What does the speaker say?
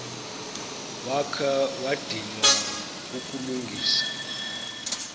wakha wadinwa kukulungisa